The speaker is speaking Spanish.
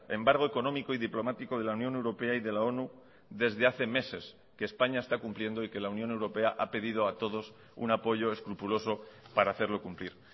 embargo económico y diplomático de la unión europea y de la onu desde hace meses que españa está cumpliendo y que la unión europea ha pedido a todos un apoyo escrupuloso para hacerlo cumplir